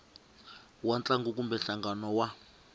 wa ntlangu kumbe nhlangano wa